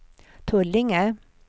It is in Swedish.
Tullinge